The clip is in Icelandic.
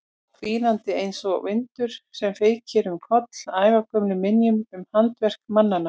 Hvínandi einsog vindur sem feykir um koll ævagömlum minjum um handaverk mannanna.